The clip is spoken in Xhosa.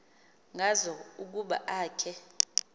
ngazo ukuba akhe